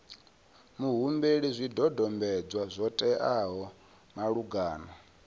muhumbeli zwidodombedzwa zwo teaho malugana